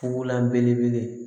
Fugulan belebele